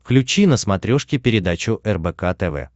включи на смотрешке передачу рбк тв